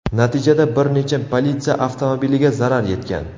Natijada bir necha politsiya avtomobiliga zarar yetgan.